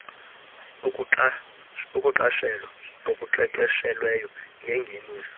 ukuqashela okuqeqeshelweyo ngengeniso